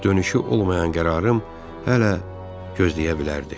Dönüşü olmayan qərarım hələ gözləyə bilərdi.